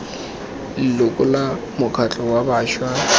leloko la mokgatlho wa bašwa